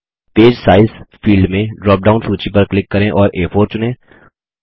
paper size field में drop down सूची पर क्लिक करें और आ4 चुनें